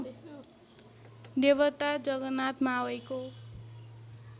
देवता जगनाथ मावईको